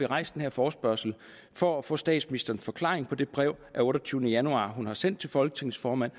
rejst den her forespørgsel for at få statsministerens forklaring på det brev af otteogtyvende januar hun har sendt til folketingets formand